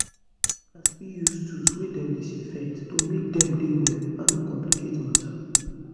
dokita's fit use tools wey dem disinfect to make dem dey well and no complicate matter